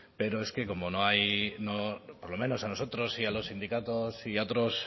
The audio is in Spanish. pero es que como no hay por lo menos a nosotros y a los sindicatos y a otros